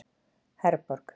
Herborg